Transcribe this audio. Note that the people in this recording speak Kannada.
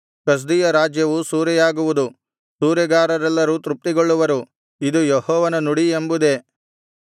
ಕಸ್ದೀಯ ರಾಜ್ಯವು ಸೂರೆಯಾಗುವುದು ಸೂರೆಗಾರರೆಲ್ಲರೂ ತೃಪ್ತಿಗೊಳ್ಳವರು ಇದು ಯೆಹೋವನ ನುಡಿ ಎಂಬುದೇ